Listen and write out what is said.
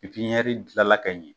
dilanla ka ɲɛ.